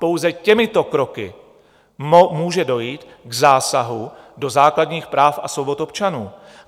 Pouze těmito kroky může dojít k zásahu do základních práv a svobod občanů.